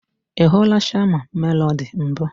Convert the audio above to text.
I hụla Shama Melody mbụ?